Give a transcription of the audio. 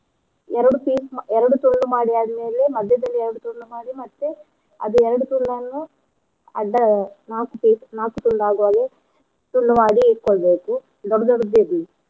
ಎರ್ಡ್ piece ಮಾ~ ಎರ್ಡೂ ತುಂಡು ಮಾಡಿ ಆದ್ ಮೇಲೆ ಮಧ್ಯೆದಲ್ಲಿ ಎರ್ಡೂ ತುಂಡು ಮಾಡಿ ಮತ್ತೆ ಅದೆ ಎರ್ಡೂ ತುಂಡನ್ನು ಅಡ್ದ ನಾಕು piece ನಾಕು ತುಂಡು ತುಂಡು ಆಗು ಹಾಗೇ ತುಂಡು ಮಾಡಿ ಇಟ್ಕೋಳ್ಬೇಕು ದೊಡ್ಡ ದೊಡ್ಡದಿರ್ಲಿ.